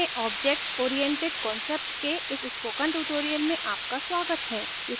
ruby में object oriented concept के इस स्पोकन ट्यूटोरियल में आपका स्वागत है